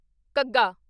ਘੱਗਾ